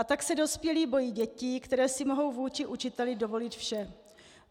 A tak se dospělí bojí dětí, které si mohou vůči učiteli dovolit vše.